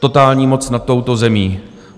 Totální moc nad touto zemí.